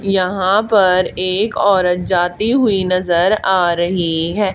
यहां पर एक औरत जाती हुई नजर आ रही है।